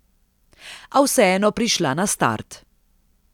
A vseeno prišla na start.